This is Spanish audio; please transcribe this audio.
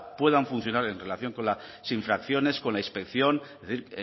puedan funcionar en relación con las infracciones con la inspección es decir